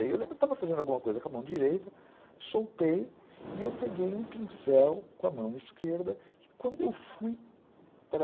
Eu lembro que estava fazendo alguma coisa com a mão direita, soltei e eu peguei um pincel com a mão esquerda e quando eu fui para...